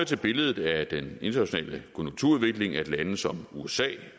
til billedet af den internationale konjunkturudvikling at lande som usa